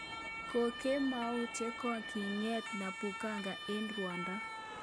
Kokemout ye kogiing'et Nokubonga eng rwondo